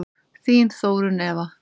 Þín Þórunn Eva.